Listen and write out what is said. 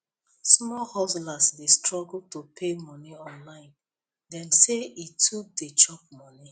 small hustlers dey struggle to pay money online dem say e too dey chop money